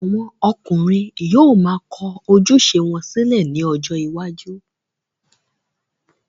àwọn ọkùnrin yóò ma kọ ojúṣe wọn sílẹ̀ ní ọjọ́ iwájú.